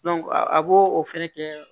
a b'o o fɛnɛ kɛ